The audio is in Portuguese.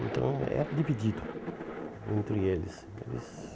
Então era dividido entre eles. Eles